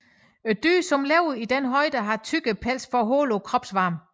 Dyrene som lever i denne højde har tykkere pels for at holde på kropsvarmen